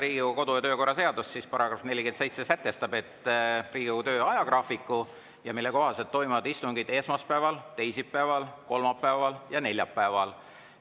Riigikogu kodu‑ ja töökorra seaduse § 47 sätestab, et Riigikogu töö ajagraafiku kohaselt toimuvad istungid esmaspäeval, teisipäeval, kolmapäeval ja neljapäeval.